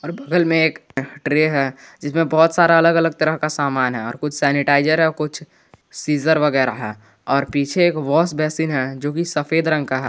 और बगल में एक ट्रे है जिसमें बहुत सारा अलग अलग तरह का समान है और कुछ सैनिटाइजर और कुछ सीजर वगैरा है और पीछे एक वाश बेसिन है जोकि सफेद रंग का है।